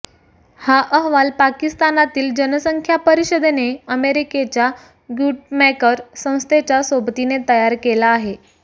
हा अहवाल पाकिस्तानातील जनसंख्या परिषदेने अमेरिकेच्या ग्यूटमैकर संस्थेच्या सोबतीने तयार केला आहे